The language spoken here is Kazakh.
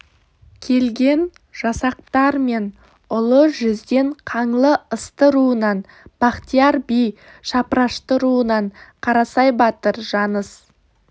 келген жасақтар мен ұлы жүзден қаңлы ысты руынан бахтияр би шапырашты руынан қарасай батыр жаныс